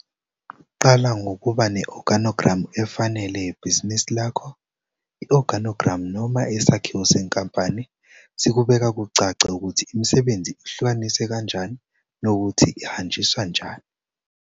Qala ngokuba ne-oganogramu efanele yebhizinisi lakho. I-oganogramu noma isakhiwo senkampani sikubeka kucace ukuthi imisebenzi ihlukaniswe kanjani nokuthi ihanjiswa njani.